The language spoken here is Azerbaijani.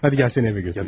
Hədi gəl səni evə götürüm.